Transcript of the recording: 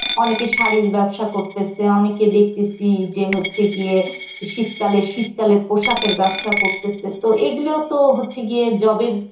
অনেকের শাড়ির ব্যবসা করতেসে, অনেকে দেখতেসি যে হচ্ছে গিয়ে শীতকালে শীতকালের পোশাকের ব্যবসা করতেসে তো এগুলিও তো হচ্ছে গিয়ে job এর